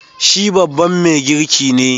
Shi babban mai girki ne.